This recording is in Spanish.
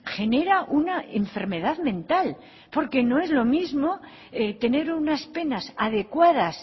genera una enfermedad mental porque no es lo mismo tener unas penas adecuadas